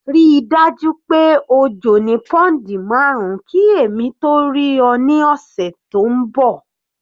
Ríi dájú pé o jò ní pounds marun ki èmi tó rí ọ ní ọ̀sẹ̀ tó ń bọ̀.